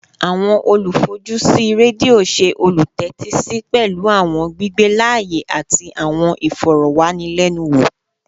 Awọn olufojusi redio ṣe olutẹtisi pẹlu awọn gbigbe laaye ati awọn ifọrọwanilẹnuwo